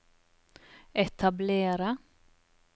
etablere